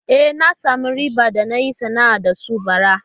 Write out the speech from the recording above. E, na samu riba da na yi sana'ar da su bara.